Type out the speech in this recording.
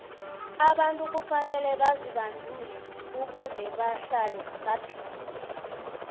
abantu kufanele bazibandule ukuze bahlale baphilile